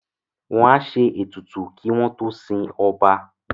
Wọ́n á ṣe ètùtù kí wọ́n tó sin ọba